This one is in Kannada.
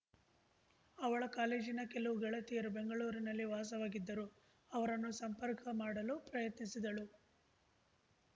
ಅವಳ ಕಾಲೇಜಿನ ಕೆಲವು ಗೆಳತಿಯರು ಬೆಂಗಳೂರಿನಲ್ಲಿಯೇ ವಾಸವಾಗಿದ್ದರು ಅವರನ್ನು ಸಂಪರ್ಕ ಮಾಡಲು ಪ್ರಯತ್ನಿಸಿದಳು